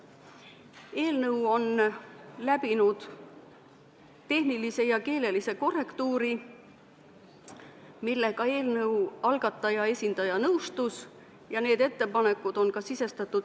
Eelnõu on läbinud tehnilise ja keelelise korrektuuri ja need ettepanekud, millega eelnõu algataja esindaja nõustus, on ka eelnõu teksti sisestatud.